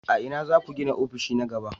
A ina za ku gina ofishi na gaba?